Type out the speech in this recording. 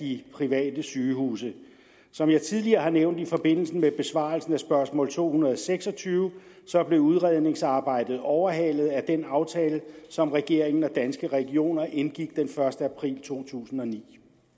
de private sygehuse som jeg tidligere har nævnt i forbindelse med besvarelsen af spørgsmål s to hundrede og seks og tyve blev udredningsarbejdet overhalet af den aftale som regeringen og danske regioner indgik den første april totusinde og niende